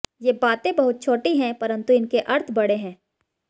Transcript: ये बातें बहुत छोटी हैं परन्तु इनके अर्थ बड़े हैं